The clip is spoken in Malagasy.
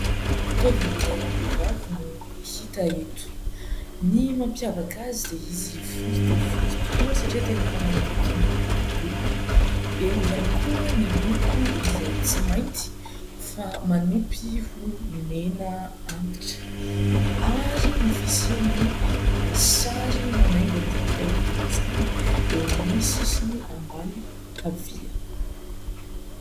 Taovolo iray ho am-behivavy no hita eto. Ny mampiavaka azy dia izy fohy dia fohy tokoa satria tena efa manakaiky ny hodidoha. Eo ihany koa ny loko izay tsy mainty fa manompy ho mena antitra ary ny fisian'ny sary manaingo an'izany taovolo izany eo amin'ny sisiny ambany havia.